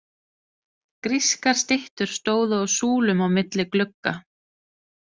Grískar styttur stóðu á súlum á milli glugga.